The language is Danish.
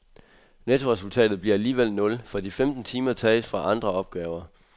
Nettoresultatet bliver alligevel nul, for de femten timer tages fra andre opgaver.